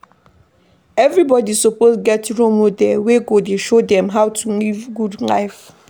Everybodi suppose get role model wey go dey show dem how to live good life.